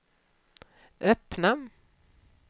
öppna